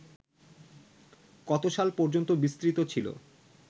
কত সাল পর্যন্ত বিসতৃত ছিল